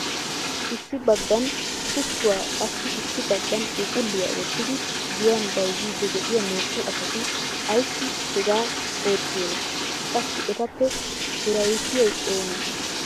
Issi baggan kuttuwa qassi issi baggan phuuphuliya wottidi giyan bayzzidi de'iyaa naa"u asati ayssi hegaa oottiyoona? Qassi etappe hirayssiyay oonee?